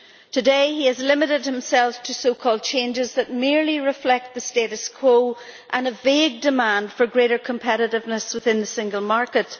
Today he has limited himself to so called changes that merely reflect the status quo and a vague demand for greater competitiveness within the single market.